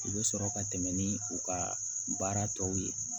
U bɛ sɔrɔ ka tɛmɛ ni u ka baara tɔw ye